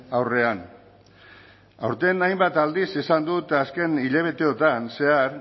aurrean aurten hainbat aldiz esan dut azken hilabeteotan zehar